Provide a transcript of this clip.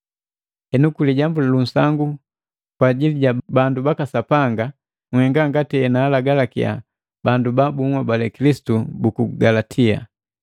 Henu kwi lijambu lu nsangu kwa ajili ja bandu baka Sapanga, nhenga ngati enaalagalakiya bandu ba bunhobali Kilisitu buku Galatia.